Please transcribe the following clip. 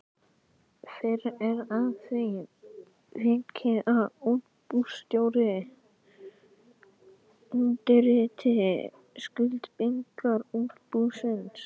Fyrr er að því vikið að útibússtjóri undirriti skuldbindingar útibúsins.